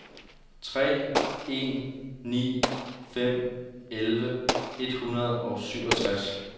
tre en ni fem elleve et hundrede og syvogtres